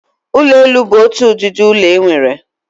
Ụlọ elu bu otu ụdịdị ụlọ enwere.